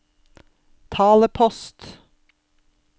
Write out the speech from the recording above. talepost